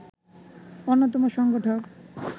অন্যতম সংগঠক